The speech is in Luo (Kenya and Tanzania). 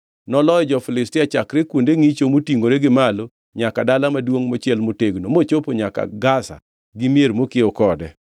Noloyo jo-Filistia chakre kuonde ngʼicho motingʼore gi malo nyaka dala maduongʼ mochiel motegno, mochopo nyaka Gaza gi mier mokiewo kode.